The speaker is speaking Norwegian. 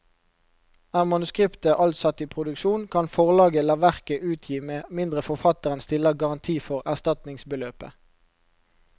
Er manuskriptet alt satt i produksjon, kan forlaget la verket utgi med mindre forfatteren stiller garanti for erstatningsbeløpet.